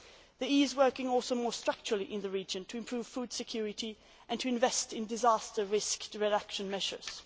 August. The EU is also working more structurally in the region to improve food security and to invest in disaster risk reduction measures.